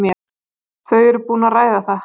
Þau eru búin að ræða það.